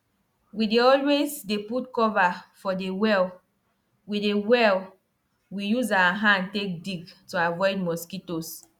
sand wey dem use farm get plenty things wey make am dey good for the different types of farming wey dem dey use am do.